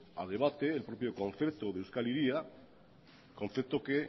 a debate el propio concepto de euskal hiria concepto que